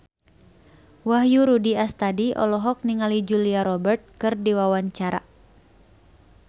Wahyu Rudi Astadi olohok ningali Julia Robert keur diwawancara